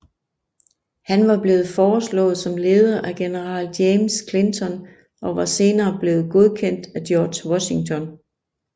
Han var blevet foreslået som leder af general James Clinton og var senere blevet godkendt af George Washington